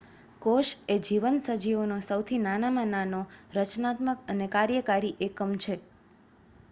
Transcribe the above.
કોશ એ જીવંત સજીવોનો સૌથી નાનામાં નાનો રચનાત્મક અને કાર્યકારી એકમ છે